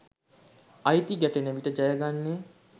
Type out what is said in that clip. අයිති ගැටෙන විට ජයගන්නේ